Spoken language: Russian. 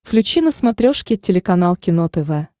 включи на смотрешке телеканал кино тв